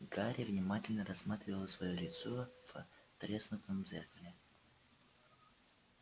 гарри внимательно рассматривал своё лицо в треснутом зеркале